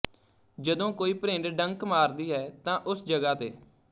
ਜਦੋਂ ਕੋਈ ਭਰਿੰਡ ਡੰਕ ਮਾਰਦੀ ਹੈ ਤਾਂ ਉਸ ਜਗ੍ਹਾ ਤੇ